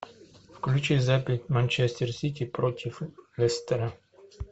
включи запись манчестер сити против лестера